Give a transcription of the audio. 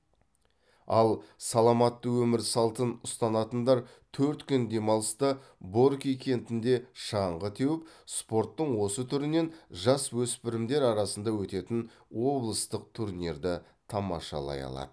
ал саламатты өмір салтын ұстанатындар төрт күн демалыста борки кентінде шаңғы теуіп спорттың осы түрінен жасөспірімдер арасында өтетін облыстық турнирді тамашалай алады